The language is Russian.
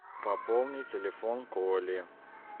пополни телефон коли